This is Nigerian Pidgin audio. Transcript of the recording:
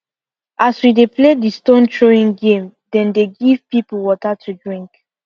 as we dey play the stone throwing game dem dey give people water to drink